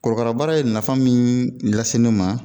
Korokara baara ye nafa min lase ne ma